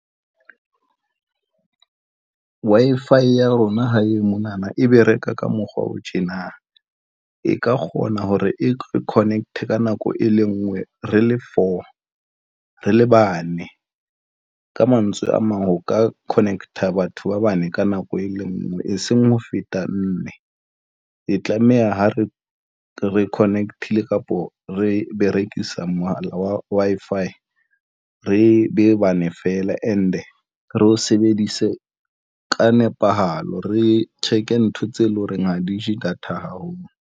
Wi-Fi ya rona hae mona na, ebe reka ka mokgwa o tjena e ka kgona hore e re connect ka nako e le ngwe, re le four re le bane. Ka mantswe a mang, ho ka connect-a batho ba bane ka nako e le ngwe e seng ho feta mme e tlameha ho re re connect-ile kapo re berekisa Wi-Fi re be bane feela. And e re e sebedise ka nepahalo, re check ntho tseo e leng horeng ha di je data haholo.